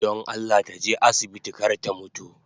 Don Allah taje asibiti kar ta mutu